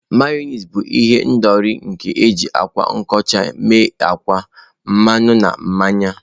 Mayonezi bụ ihendori nke eji akwa nkochi ime akwa, mmanụ na mmanya